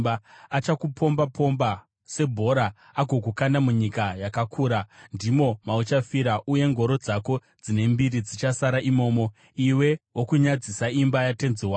Achakupomba-pomba sebhora agokukanda munyika yakakura. Ndimo mauchafira, uye ngoro dzako dzine mbiri dzichasara imomo, iwe wokunyadzisa imba yatenzi wako!